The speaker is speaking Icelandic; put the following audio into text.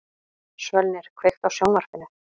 Svölnir, kveiktu á sjónvarpinu.